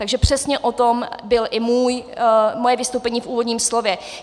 Takže přesně o tom bylo i moje vystoupení v úvodním slově.